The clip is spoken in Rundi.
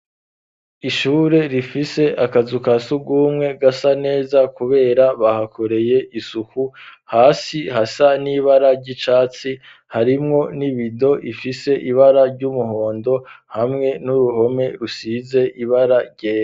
Ishure rifise akazu kasugumwe gasa neza kubera bahakoreye isuku hasi hasa n'ibara ry'icatsi harimwo n'ibido ifise ibara ry'umuhondo hamwe n'uruhome rusize ibara ryera